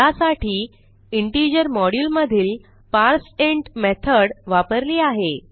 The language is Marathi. ह्यासाठी इंटिजर मॉड्युल मधील पार्सिंट मेथॉड वापरली आहे